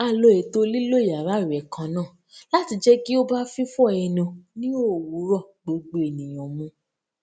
a lo ètò lílo yàrá ìwè kan náà láti jẹ kí ó bá fífọ ẹnu ní òwúrọ gbogbo ènìyàn mu